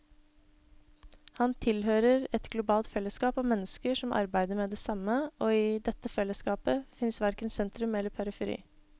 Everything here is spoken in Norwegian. Han tilhører et globalt fellesskap av mennesker som arbeider med det samme, og i dette fellesskapet fins verken sentrum eller periferi.